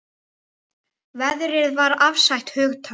Veðrið var afstætt hugtak.